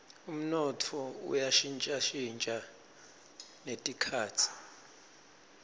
umnotfo uya shintjashintja netikhatsi